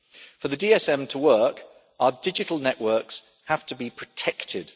For the DSM to work, our digital networks have to be protected.